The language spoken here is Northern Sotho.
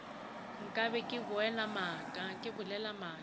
nka be ke bolela maaka